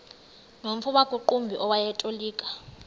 nomfo wakuqumbu owayetolika